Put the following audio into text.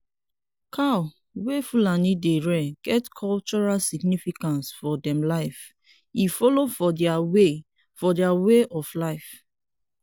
cow wey fulani dey rear get cultural significance for dem life e follow for their way for their way of life